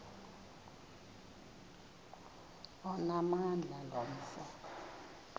onamandla lo mfo